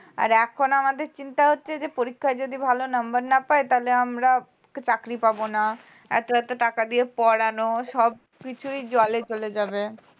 আর এখন আমাদের চিন্তা হচ্ছে যে পরীক্ষায় যদি ভালো number না পাই তাহলে আমরা চাকরি পাব না এত এত টাকা দিয়ে পড়ানো সবকিছুই জলে চলে যাবে